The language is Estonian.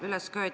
Palun!